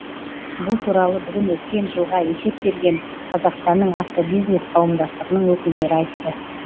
бұл туралы бүгін өткен жылға есеп берген қазақстанның автобизнес қауымдастығының өкілдері айтты